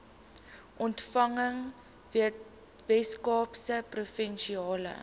ontspanning weskaapse provinsiale